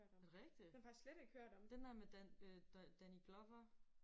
Er det rigtigt? Den der med Dan øh Danny Glover